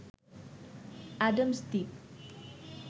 Adams Dwip